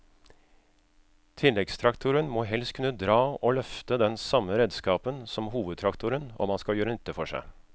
Tilleggstraktoren må helst kunne dra og løfte den samme redskapen som hovedtraktoren om han skal gjøre nytte for seg.